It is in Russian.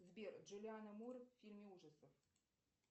сбер джулиана мур в фильме ужасов